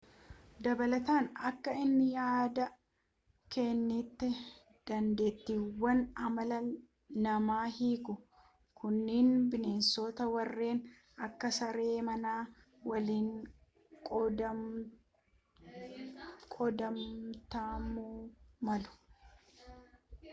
dabalataan akka inni yaada kennetti dandeettiiwwan amala namaa hiikuu kunniin bineensota warreen akka saree manaa waliin qooddatamuumalu